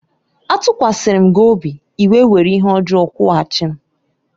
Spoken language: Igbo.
Atukwasirim gi obi, I wé were ihe ojo kwughachim.